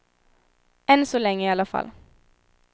Än så länge i alla fall.